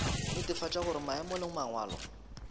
netefatša gore maemo le mangwalo